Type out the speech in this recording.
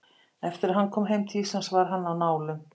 Eftir að hann kom heim til Íslands var hann á nálum.